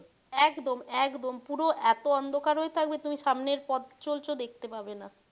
একদম একদম পুরো এতো অন্ধকার হয়ে থাকবে তুমি সামনে পথ চলছ দেখতে পাবে না।